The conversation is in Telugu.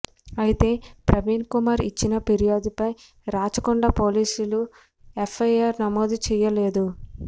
అయితే ప్రవీణ్ కుమార్ ఇచ్చిన ఫిర్యాదుపై రాచకొండ పోలీసులు ఎఫ్ఐఆర్ నమోదు చేయలేదు